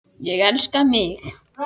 Ég elska mig!